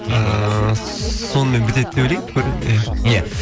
ыыы сонымен бітеді деп ойлаймын иә иә